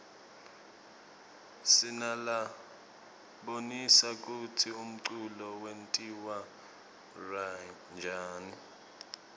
sinalabonisa kutsi umculo wentiwaryani